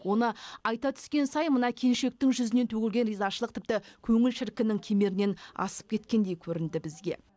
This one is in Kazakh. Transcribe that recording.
оны айта түскен сайын мына келіншектің жүзінен төгілген ризашылық тіпті көңіл шіркіннің кемерінен асып кеткендей көрінді бізге